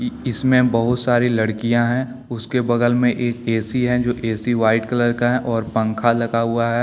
इसमें बहुत सारी लड़कियां हैंउसके बगल मे एक ए_सी हैजो ए_सी व्हाइट कलर का है और पंखा लगा हुआ है।